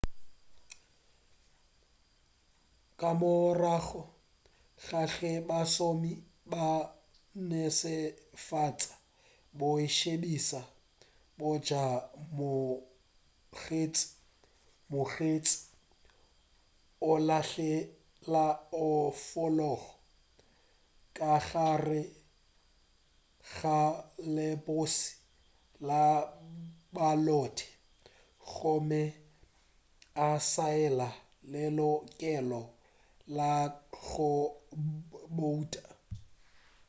ka morago ga ge bašomi ba netefatša boitsebišo bja mokgethi mokgethi o lahlela onfolopo ka gare ga lepokisi la balote gomme a saena lelokelo la go bouta